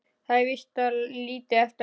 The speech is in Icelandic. Það er víst lítið eftir af mínum!